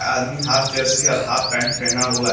आदमी half jersey और half pant पहना हुआ है।